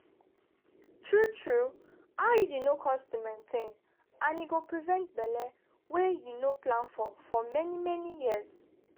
true-true iud no cost to maintain and e go prevent belle wey you no plan for for many-many years.